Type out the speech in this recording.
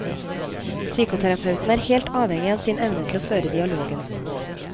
Psykoterapeuten er helt avhengig av sin evne til å føre dialogen.